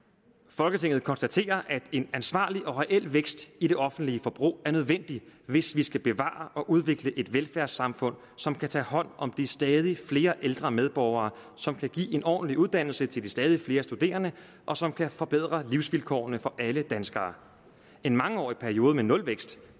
folketinget konstaterer at en ansvarlig og reel vækst i det offentlige forbrug er nødvendig hvis vi skal bevare og udvikle et velfærdssamfund som kan tage hånd om de stadigt flere ældre medborgere som kan give en ordentlig uddannelse til de stadigt flere studerende og som kan forbedre livsvilkårene for alle danskere en mangeårig periode med nulvækst